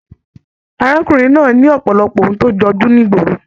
Arákùnrin náà ní ọpọlọpọ òun to jọjú nigboro.